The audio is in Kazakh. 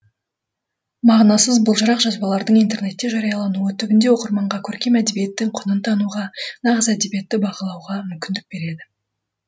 мағынасыз былжырақ жазбалардың интернетте жариялануы түбінде оқырманға көркем әдебиеттің құнын тануға нағыз әдебиетті бағалауға мүмкіндік береді